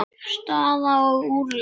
Staða og úrslit.